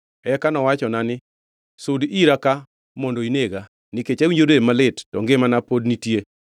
“Eka nowachona ni, ‘Sud ira ka mondo inega! Nikech awinjo rem malit to ngimana pod nitie.’